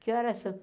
Que horas são?